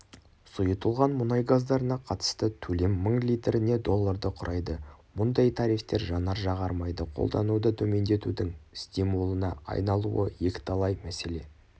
сұйытылған мұнай газдарына қатысты төлем мың литріне долларды құрайды мұндай тарифтер жанар-жағар майды қолдануды төмендетудің стимулына айналуы екіталай мәселе